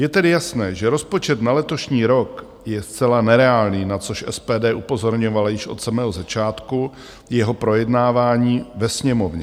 Je tedy jasné, že rozpočet na letošní rok je zcela nereálný, na což SPD upozorňovala již od samého začátku jeho projednávání ve Sněmovně.